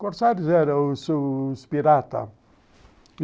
Corsários era era os s piratas.